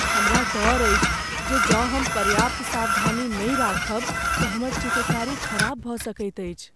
हमरा डर अछि जे जँ हम पर्याप्त सावधानी नहि राखब तँ हमर चित्रकारी खराब भऽ सकैत अछि।